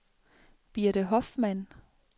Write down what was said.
Birte Hoffmann